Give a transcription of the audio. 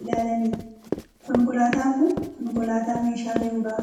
ilaalanidba. Konkolaataan kun konkolaataa meeshaa fe'u dha.